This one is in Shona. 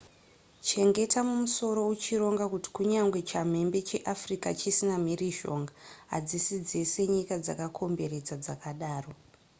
chengeta mumusoro uchironga kuti kunyangwe chamhembe cheafrica chisina mhirizhonga hadzisi dzese nyika dzakakomberedza dzakadaro